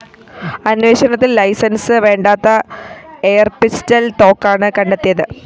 അന്വേഷണത്തില്‍ ലൈസൻസ്‌ വേണ്ടാത്ത എയര്‍പിസ്റ്റള്‍ തോക്കാണ് കണ്ടെത്തിയത്